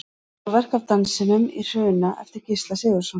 Málverk af Dansinum í Hruna eftir Gísla Sigurðsson.